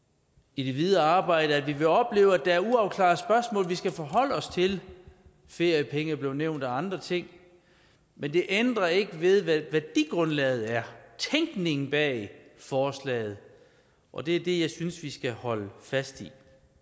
i det videre arbejde at vi vil opleve at der er uafklarede spørgsmål vi skal forholde os til feriepenge er blevet nævnt og andre ting men det ændrer ikke ved hvad værdigrundlaget er tænkningen bag forslaget og det er det jeg synes vi skal holde fast i